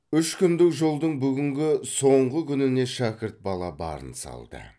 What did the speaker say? үш күндік жолдың бүгінгі соңғы күніне шәкірт бала барын салды